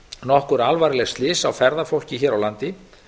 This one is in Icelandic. nokkur alvarleg slys á ferðafólk hér á landi